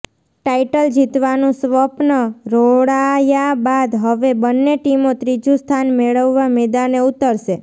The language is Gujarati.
ટાઈટલ જીતવાનું સ્વપ્ન રોળાયા બાદ હવે બંને ટીમો ત્રીજું સ્થાન મેળવવા મેદાને ઊતરશે